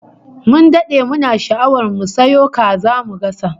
Mun dade muna sha'awar mu sayo kasa mu gasa